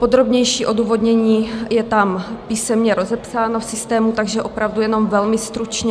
Podrobnější odůvodnění je tam písemně rozepsáno v systému, takže opravdu jenom velmi stručně.